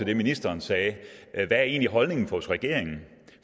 det ministeren sagde hvad er egentlig holdning hos regeringen